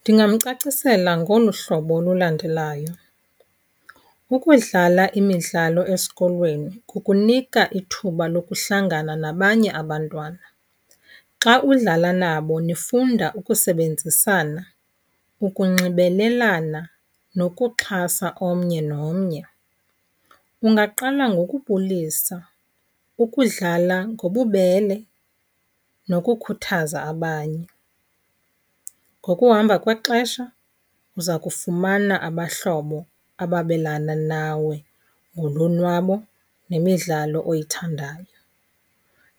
Ndingamcacisela ngolu hlobo lulandelayo. Ukudlala imidlalo esikolweni kukunika ithuba lokuhlangana nabanye abantwana. Xa udlala nabo nifunda ukusebenzisana, ukunxibelelana nokuxhasa omnye nomnye. Ungaqala ngokubulisa, ukudlala ngobubele nokukhuthaza abanye. Ngokuhamba kwexesha uza kufumana abahlobo ababelana nawe ngolonwabo nemidlalo oyithandayo.